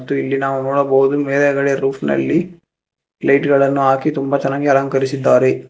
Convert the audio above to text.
ಮತ್ತು ಇಲ್ಲಿ ನಾವು ನೋಡ್ಬಹುದು ಮೇಲೆಗಡೆ ರೋಫ್ ನಲ್ಲಿ ಲೈಟ್ ಗಳನ್ನು ಹಾಕಿ ತುಂಬ ಚೆನ್ನಾಗಿ ಅಲಂಕರಿಸಿದ್ದಾರೆ.